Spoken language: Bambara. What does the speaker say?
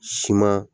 Siman